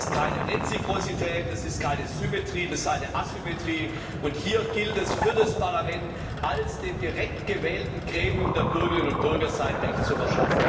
Das ist keine Reziprozität, das ist keine Symmetrie, das ist eine Asymmetrie und hier gilt es, dem Parlament als dem direkt gewählten Gremium der Bürgerinnen und Bürger sein Recht zu verschaffen.